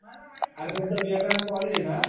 अरे तुमचं विवेकानंद कॉलेज आहे ना